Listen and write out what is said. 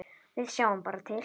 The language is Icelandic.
Við sjáum bara til.